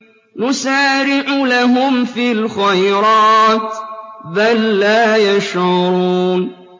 نُسَارِعُ لَهُمْ فِي الْخَيْرَاتِ ۚ بَل لَّا يَشْعُرُونَ